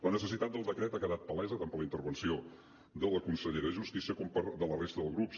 la necessitat del decret ha quedat palesa tant per la intervenció de la consellera de justícia com per la de la resta de grups